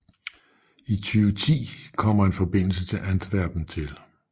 I 2010 kommer en forbindelse til Antwerpen til